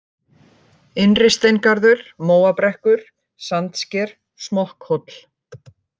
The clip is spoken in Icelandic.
Innristeingarður, Móabrekkur, Sandsker, Smokkhóll